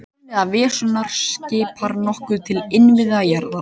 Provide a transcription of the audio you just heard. Innviða Venusar svipar nokkuð til innviða jarðar.